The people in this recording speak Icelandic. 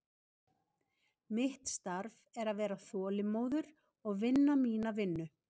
Mitt starf er að vera þolinmóður og vinna mína vinnu.